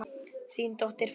Þín dóttir, Fanney.